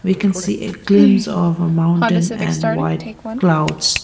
We can see a glimpse of a mountain and white clouds.